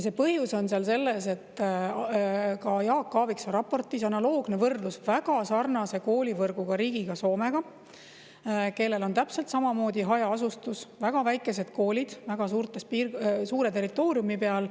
Jaak Aaviksoo raportis on analoogne võrdlus väga sarnase koolivõrguga riigiga, Soomega, kellel on täpselt samamoodi hajaasustus, väga väikesed koolid väga suure territooriumi peal.